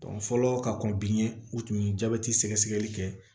fɔlɔ ka kɔn bi ye u tun ye jabɛti sɛgɛsɛgɛli kɛ